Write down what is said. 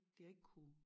De har ikke kunne